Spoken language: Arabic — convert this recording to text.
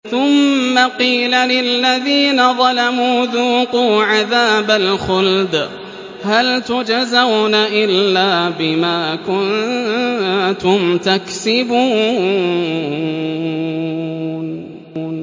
ثُمَّ قِيلَ لِلَّذِينَ ظَلَمُوا ذُوقُوا عَذَابَ الْخُلْدِ هَلْ تُجْزَوْنَ إِلَّا بِمَا كُنتُمْ تَكْسِبُونَ